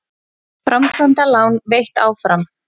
Framkvæmdalán veitt áfram